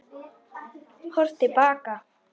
Horft til baka